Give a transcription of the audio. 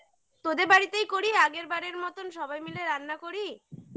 তোদের বাড়িতেই করি আগের বারের মতন সবাই মিলে রান্না করি